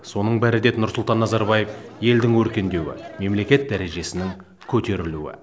соның бәрі деді нұрсұлтан назарбаев елдің өркендеуі мемлекет дәрежесінің көтерілуі